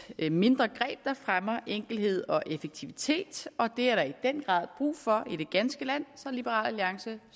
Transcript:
et mindre greb der fremmer enkelhed og effektivitet og det er der i den grad brug for i det ganske land så liberal alliance